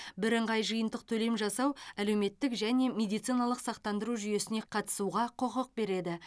бірыңғай жиынтық төлем жасау әлеуметтік және медициналық сақтандыру жүйесіне қатысуға құқық береді